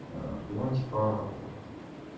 аа и он типа